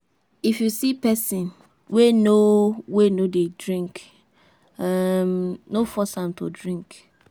If you see pesin wey no wey no dey drink, um no force am to drink.